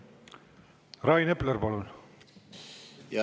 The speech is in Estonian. Rain Epler, palun!